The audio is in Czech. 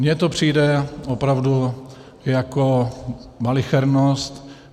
Mně to přijde opravdu jako malichernost.